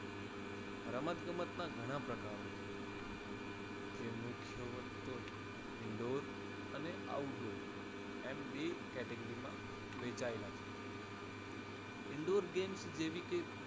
રમત ગમતના ઘણા પ્રકારો છે તે મુખ્ય ત્વ indoor અને outdoor એમ બે category વહેંચાયેલા છે indoor games જેવી કે